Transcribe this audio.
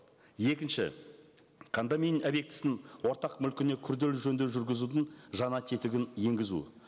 екінші объектісінің ортақ мүлкіне күрделі жөндеу жүргізудің жаңа тетігін енгізу